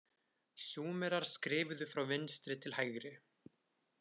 Súmerar skrifuðu frá vinstri til hægri.